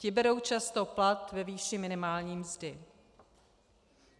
Ti berou často plat ve výši minimální mzdy.